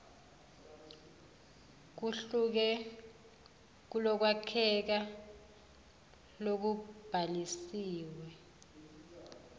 kuhluke kulokwakheka lokubhalisiwe